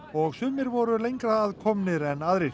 og sumir voru lengra að komnir en aðrir